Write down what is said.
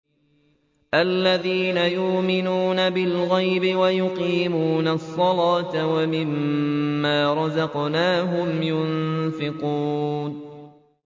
الَّذِينَ يُؤْمِنُونَ بِالْغَيْبِ وَيُقِيمُونَ الصَّلَاةَ وَمِمَّا رَزَقْنَاهُمْ يُنفِقُونَ